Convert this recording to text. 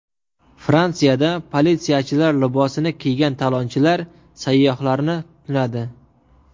Fransiyada politsiyachilar libosini kiygan talonchilar sayyohlarni tunadi.